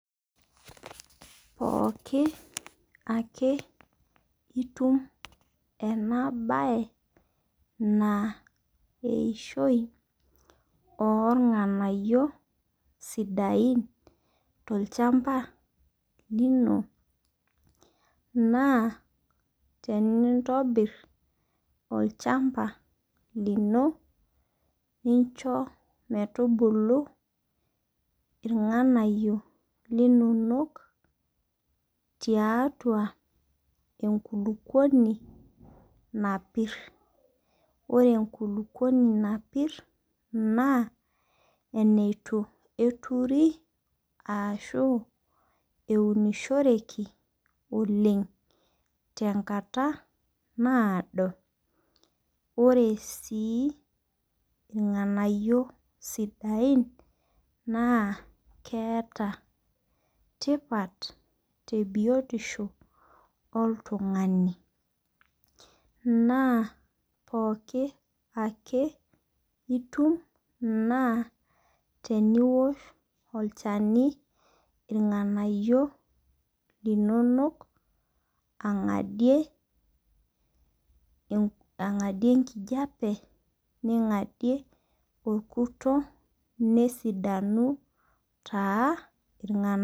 Pooki ake itum ena bae na eishoi oo irng'anayio sidain to lchamba lino naa tenintobir olchamba lino nincho metubulu irng'anayio linonok taitau enkulupuoni napir. Ore enkulukuoni napir naa eneitu eturi ashu eunishoreki oleng tenkata nado ore sii irng'anayio sidain naa keeta tipat te biotisho oltung'ani naa pookin ake itum na teniwosh olchani irng'anayio linonok ang'adie enkijape ningadie orkuta nesidanu taa irng'anayio.